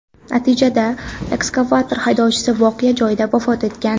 Natijada ekskavator haydovchisi voqea joyida vafot etgan.